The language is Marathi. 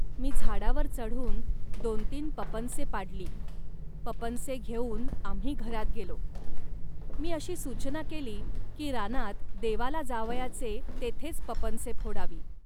मी झाडावर चढून दोनतीन पपनसे पाडली, पपनसे घेऊन आम्ही घरात गेलो. मी अशी सूचना केली, की रानात देवाला जावयाचे तेथेच पपनसे फोडावी